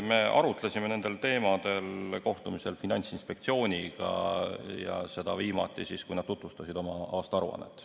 Me arutlesime nendel teemadel Finantsinspektsiooniga toimunud kohtumisel ja tegime seda viimati siis, kui nad tutvustasid oma aastaaruannet.